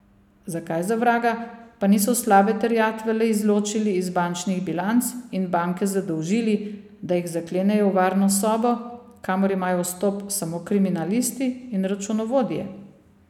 Zakaj, za vraga, pa niso slabe terjatve le izločili iz bančnih bilanc in banke zadolžili, da jih zaklenejo v varno sobo, kamor imajo vstop samo kriminalisti in računovodje?